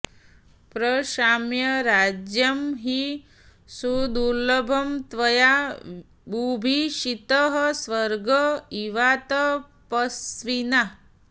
प्रशाम्य राज्यं हि सुदुर्लभं त्वया बुभूषितः स्वर्ग इवातपस्विना